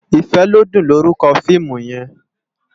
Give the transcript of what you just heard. Ifelodun lórúkò fiimú yèn